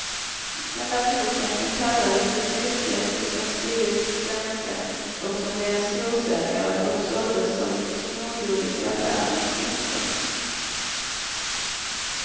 Den där boken som kallades det snuskigaste som skrivits på svenska och som blev en storsäljare och såldes som smågodis i affärernas diskar.